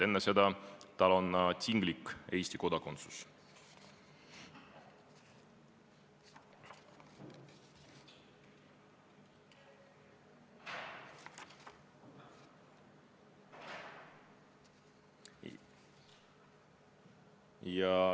Enne seda tal on tinglik Eesti kodakondsus.